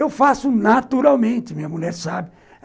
Eu faço naturalmente, minha mulher sabe.